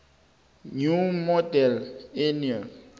new model army